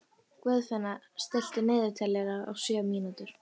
Guðfinna, stilltu niðurteljara á sjö mínútur.